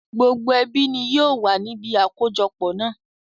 Gbogbo ẹbí ni yìí ó wà níbi àkójọpọ̀ náà